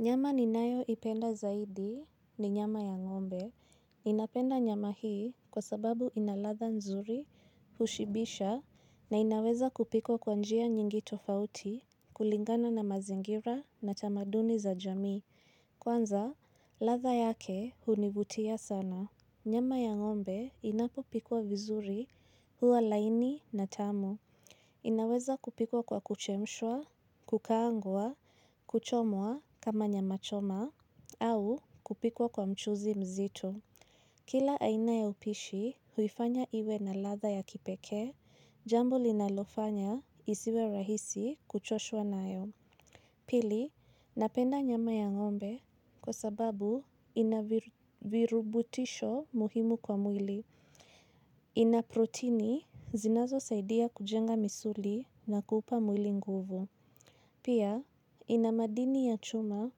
Nyama ninayo ipenda zaidi ni nyama ya ngombe. Ninapenda nyama hii kwa sababu ina latha nzuri, hushibisha, na inaweza kupikwa kwa njia nyingi tofauti, kulingana na mazingira na tamaduni za jamii. Kwanza, latha yake hunivutia sana. Nyama ya ngombe inapopikwa vizuri huwa laini na tamu. Inaweza kupikwa kwa kuchemshwa, kukaangwa, kuchomwa kama nyama choma, au kupikwa kwa mchuzi mzito. Kila aina ya upishi huifanya iwe na latha ya kipeke, jambo linalofanya isiwe rahisi kuchoshwa nayo. Pili, napenda nyama ya ngombe kwa sababu ina virubutisho muhimu kwa mwili. Ina proteini zinazo saidia kujenga misuli na kuupa mwili nguvu. Pia ina madini ya chuma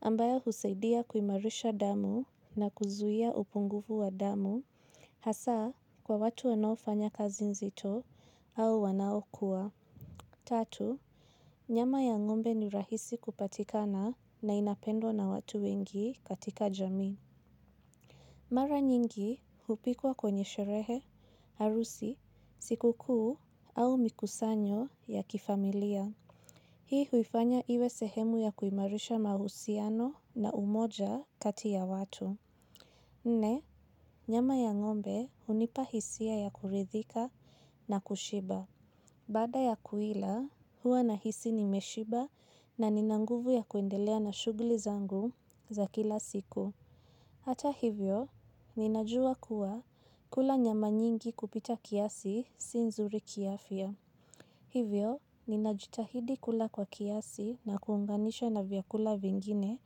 ambayo husaidia kuimarisha damu na kuzuia upungufu wa damu. Hasa kwa watu wanaofanya kazi nzito au wanaokuwa. Tatu, nyama ya ngombe ni rahisi kupatikana na inapendwa na watu wengi katika jamii. Mara nyingi, hupikwa kwenye sherehe, harusi, siku kuu au mikusanyo ya kifamilia. Hii huifanya iwe sehemu ya kuimarisha mahusiano na umoja kati ya watu. Nne, nyama ya ngombe hunipahisia ya kuridhika na kushiba. Baada ya kuila, huwa nahisi nimeshiba na ninanguvu ya kuendelea na shuguli zangu za kila siku. Hata hivyo, ninajua kuwa kula nyama nyingi kupita kiasi si nzuri kiafya. Hivyo, ninajitahidi kula kwa kiasi na kuunganisha na vyakula vingine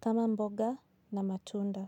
kama mboga na matunda.